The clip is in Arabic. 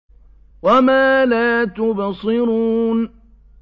وَمَا لَا تُبْصِرُونَ